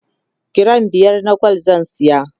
giram biyar na gwal zan saya